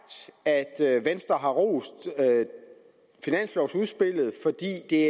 at venstre har rost finanslovudspillet fordi det